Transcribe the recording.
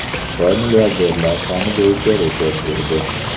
Xitoy milliarderlar soni bo‘yicha rekord urdi.